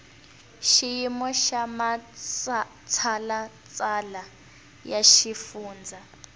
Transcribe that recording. xiyimo xa matshalatshala ya xifundza